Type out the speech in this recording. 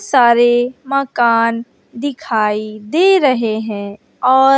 सारे मकान दिखाई दे रहे है और--